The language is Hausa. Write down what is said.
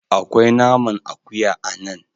Akwai naman akuya a nan.